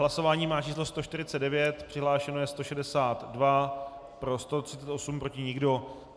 Hlasování má číslo 149, přihlášeno je 162, pro 138, proti nikdo.